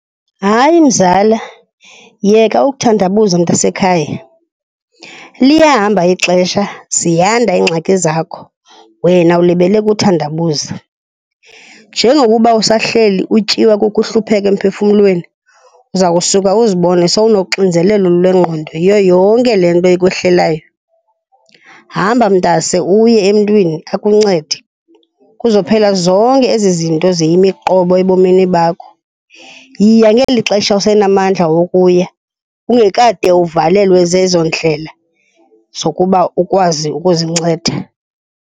Hayi, mzala, yeka ukuthandabuza mntasekhaya. Liyahamba ixesha, ziyanda iingxaki zakho, wena ulibele kuthandabuza. Njengokuba usahleli utyiwa kukuhlupheka emphefumlweni, uza kusuka uzibone sowunoxinzelelo lwengqondo yiyo yonke le nto ikwehlelayo. Hamba mntase uye emntwini akuncede. Kuzophela zonke ezi zinto ziyimiqobo ebomini bakho. Yiya ngeli xesha usenamandla wokuya ungekade uvalelwe zezo ndlela zokuba ukwazi ukuzinceda.